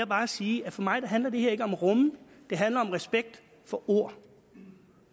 bare sige at for mig handler det her ikke om at rumme det handler om respekt for ord